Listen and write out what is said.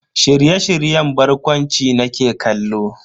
Shirye-shiryen barkwanci nake kallo.